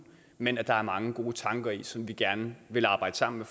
men at der er mange gode tanker i som vi gerne vil arbejde sammen